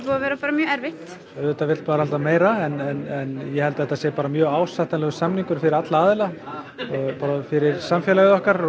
að vera mjög erfitt auðvitað vill maður alltaf meira en ég held að þetta sé bara mjög ásættanlegur samningur fyrir alla aðila bara fyrir samfélagið okkar